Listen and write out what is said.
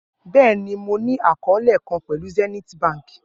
Bẹẹni, Mo ni akọọlẹ kan pẹlu Zenith Bank.